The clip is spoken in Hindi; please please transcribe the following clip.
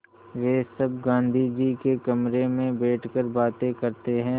वे सब गाँधी जी के कमरे में बैठकर बातें करते हैं